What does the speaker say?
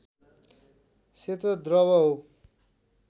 सेतो द्रव हो